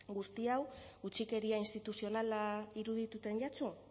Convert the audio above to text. guzti hau utzikeria instituzionala irudituten jatzu